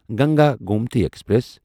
Ganga Gomti express